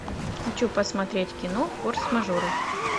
хочу посмотреть кино форс мажоры